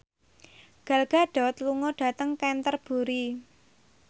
Gal Gadot lunga dhateng Canterbury